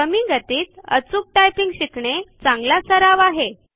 कमी गतीत अचूक टायपिंग शिकणे हा एक चांगला सराव आहे